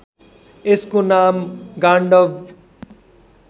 यसको नाम गाण्डब